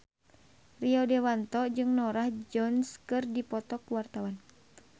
Rio Dewanto jeung Norah Jones keur dipoto ku wartawan